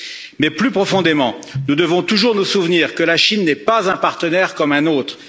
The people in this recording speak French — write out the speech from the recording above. Mais, plus profondément, nous devons toujours nous souvenir que la Chine n'est pas un partenaire comme un autre.